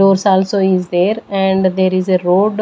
Doors also is there and there is a road--